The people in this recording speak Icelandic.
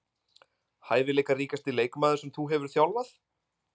Hæfileikaríkasti leikmaður sem þú hefur þjálfað?